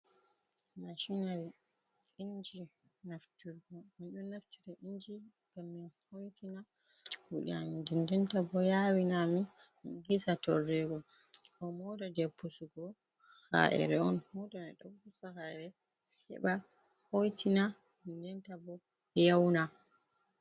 Mashinari, inji nafturgo, min ɗo naftira inji gam min hoitina kuɗe ami din dinta bo yawi na amin min hisa torrego, ɗo mota je pusugo ka’ere on mota mai ɗo pusa kaire heba hoitina dindenta bo yauna.